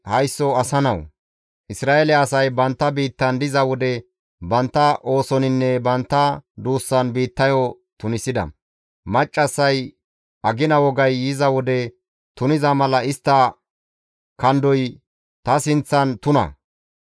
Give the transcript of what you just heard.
«Haysso asa nawu! Isra7eele asay bantta biittan diza wode bantta oosoninne bantta duussan biittayo tunisida; maccassay agina wogay yiza wode tuniza mala istta kandoy ta sinththan tuna.